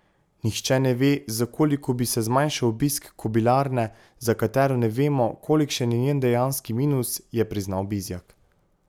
Nihče ne ve, za koliko bi se zmanjšal obisk kobilarne, za katero ne vemo, kolikšen je njen dejanski minus, je priznal Bizjak.